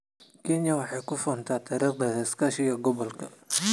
Kenya waxay ku faantaa taariikhdeeda iskaashiga gobolka.